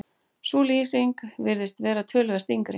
sú lýsing virðist vera töluvert yngri